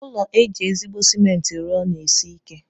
Ụlọ eji ezigbo cement rụọ na-esi ike.